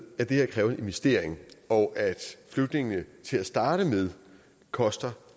at det kræver investeringer og at flygtninge til at starte med koster